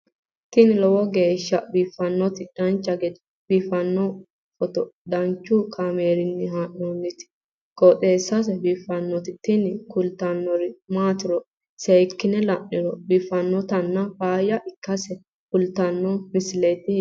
tini lowo geeshsha biiffannoti dancha gede biiffanno footo danchu kaameerinni haa'noonniti qooxeessa biiffannoti tini kultannori maatiro seekkine la'niro biiffannota faayya ikkase kultannoke misileeti yaate